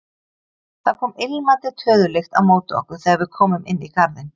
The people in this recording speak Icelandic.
Það kom ilmandi töðulykt á móti okkur þegar við komum inn í garðinn.